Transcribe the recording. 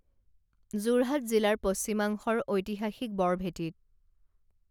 যোৰহাট জিলাৰ পশ্চিমাংশৰ ঐতিহাসিক বৰভেটিত